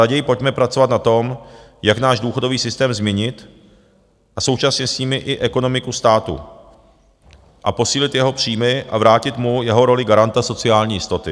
Raději pojďme pracovat na tom, jak náš důchodový systém změnit a současně s tím i ekonomiku státu a posílit jeho příjmy a vrátit mu jeho roli garanta sociální jistoty.